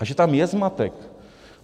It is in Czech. A že tam je zmatek!